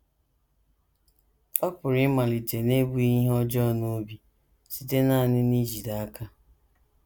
Ọ pụrụ ịmalite n’ebughị ihe ọjọọ n’obi, site nanị n’ijide aka.